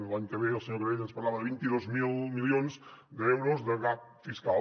per a l’any que ve el senyor canadell ens parlava de vint dos mil milions d’euros de gap fiscal